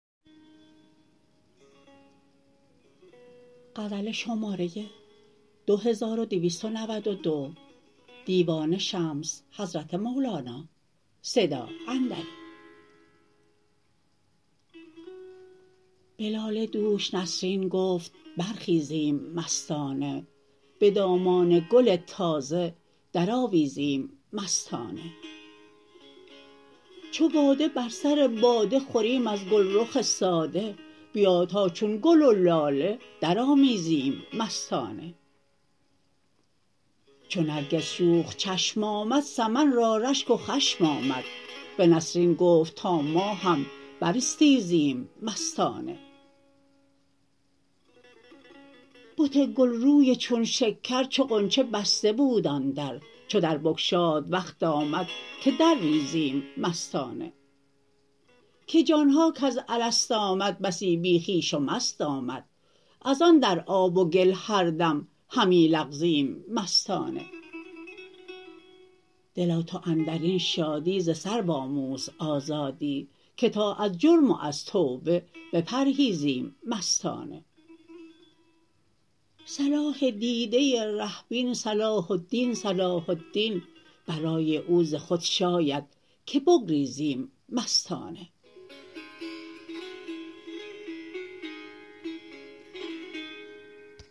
به لاله دوش نسرین گفت برخیزیم مستانه به دامان گل تازه درآویزیم مستانه چو باده بر سر باده خوریم از گلرخ ساده بیا تا چون گل و لاله درآمیزیم مستانه چو نرگس شوخ چشم آمد سمن را رشک و خشم آمد به نسرین گفت تا ما هم براستیزیم مستانه بت گلروی چون شکر چو غنچه بسته بود آن در چو در بگشاد وقت آمد که درریزیم مستانه که جان ها کز الست آمد بسی بی خویش و مست آمد از آن در آب و گل هر دم همی لغزیم مستانه دلا تو اندر این شادی ز سرو آموز آزادی که تا از جرم و از توبه بپرهیزیم مستانه صلاح دیده ره بین صلاح الدین صلاح الدین برای او ز خود شاید که بگریزیم مستانه